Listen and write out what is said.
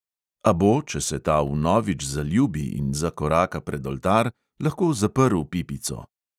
A bo, če se ta vnovič zaljubi in zakoraka pred oltar, lahko zaprl pipico.